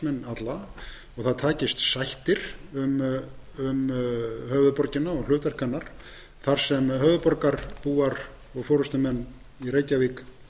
alla og það takist sættir um höfuðborgina og hlutverk hennar þar sem höfuðborgarbúar og forustumenn í reykjavík